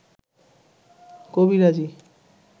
কবিরাজি